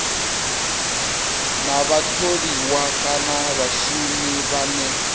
na vhatholiwa kana vhashumi vhane